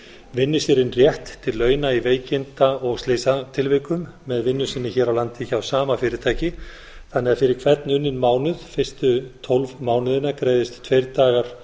vinni sér inn rétt til launa í veikinda og slysatilvikum með vinnu sinni hér á landi hjá sama fyrirtæki þannig að fyrir hvern unninn mánuð fyrstu tólf mánuðina greiðist tveir dagar